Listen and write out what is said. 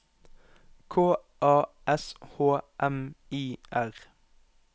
K A S H M I R